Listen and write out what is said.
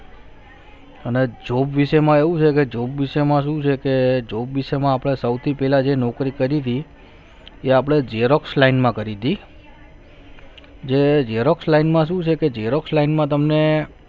અને job વિશે માં એવું છે કે job વિશે માં શું છે કે જોબ વિષયમાં આપણે સૌથી પહેલા જે નોકરી કરી તી એ આપણે xerox line માં કરી હતી તે xerox line માં શું છે કે xerox line માં તમને